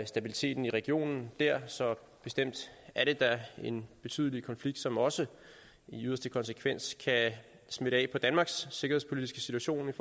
stabiliteten i regionen der så bestemt er det da en betydelig konflikt som også i yderste konsekvens kan smitte af på danmarks sikkerhedspolitiske situation med